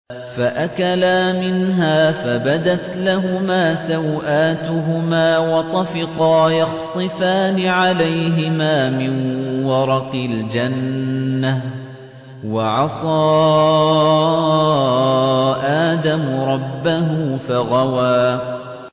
فَأَكَلَا مِنْهَا فَبَدَتْ لَهُمَا سَوْآتُهُمَا وَطَفِقَا يَخْصِفَانِ عَلَيْهِمَا مِن وَرَقِ الْجَنَّةِ ۚ وَعَصَىٰ آدَمُ رَبَّهُ فَغَوَىٰ